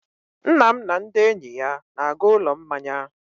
Nna m na ndị enyi ya na-aga ụlọ mmanya.